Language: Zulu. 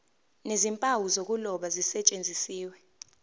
nezimpawu zokuloba zisetshenziswe